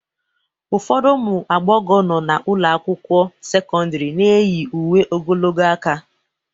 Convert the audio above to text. Ụfọdụ ụmụ agbọghọ nọ n'ụlọ akwụkwọ sekọndrị na-eyi uwe ogologo aka